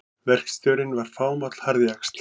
Verkstjórinn var fámáll harðjaxl.